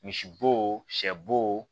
Misibo sɛ bo